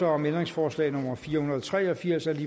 om ændringsforslag nummer fire hundrede og tre og firs af